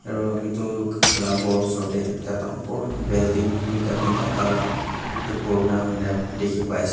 aru etu la ghor osor de ekta dangor building duita tinta taila edu purana hoi na dikhi pais.